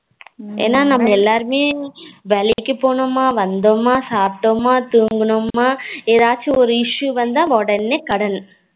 ஏன்னா நாம எல்லோருமே வேலைக்கு போனோமா வந்தோமா சாப்டோமா தூங்கணுமா எதாச்சும் ஒரு issue வந்த உடனே கடன்